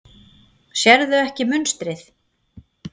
Sérðu ekki munstrið?